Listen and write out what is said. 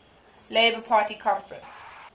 labour party conference